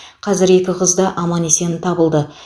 қазір екі қыз да аман есен табылды